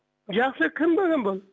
жақсы кім балам бұл